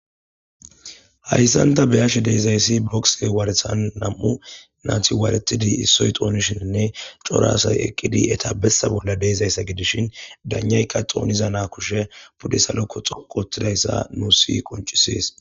hayssanta beyashe deezayssi bokse waarethan nam7u naati waaretidi issoy xoonishinne coraasay eqqidi etabessa bolla deezaysa gidishin danayka xooniza naa kushe budde salokko xoqotidayssa nu si qoncisees